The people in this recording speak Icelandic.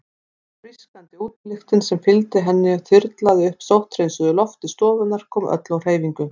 Frískandi útilyktin sem fylgdi henni þyrlaði upp sótthreinsuðu lofti stofunnar, kom öllu á hreyfingu.